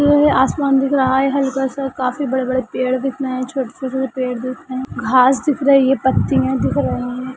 ये-ये आसमान दिख रहा है हल्का सा काफी बड़े-बड़े पेड़ दिख रहे है छोटे-छोटे से पेड़ दिख रहे है घास दिख रहे ये पत्तिया दिख रहे है।